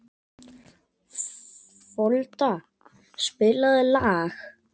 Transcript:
Folda, spilaðu lag.